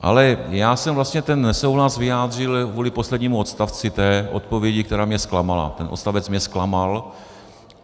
Ale já jsem vlastně ten nesouhlas vyjádřil kvůli poslednímu odstavci té odpovědi, která mě zklamala, ten odstavec mě zklamal.